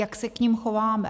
Jak se k nim chováme?